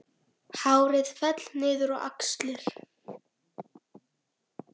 Hárið féll niður á axlir.